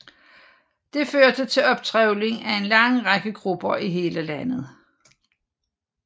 Det førte til optrevling af en lang række grupper i hele landet